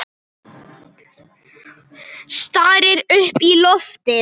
Stari upp í loftið.